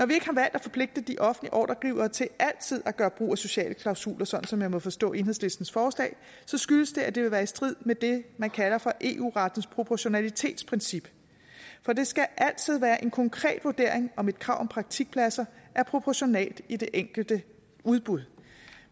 at forpligte de offentlige ordregivere til altid at gøre brug af sociale klausuler sådan som jeg må forstå enhedslistens forslag skyldes det at det vil være i strid med det man kalder for eu rettens proportionalitetsprincip for det skal altid være en konkret vurdering om et krav om praktikpladser er proportionalt i det enkelte udbud